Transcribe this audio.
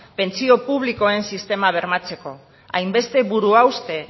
pentsio publikoen sistema bermatzeko hainbeste buruhauste